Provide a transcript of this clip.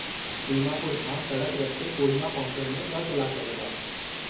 दीमापुर खां सड़क रस्ते कोहिमा पहुचण में 2 कलाक लॻंदा।